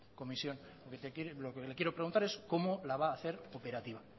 comisión desde aquí lo que le quiero preguntar es cómo la va hacer operativa